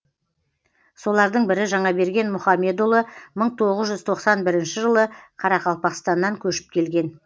солардың бірі жаңаберген мұхамедұлы мың тоғыз жүз тоқсан бірінші жылы қарақалпақстаннан көшіп келген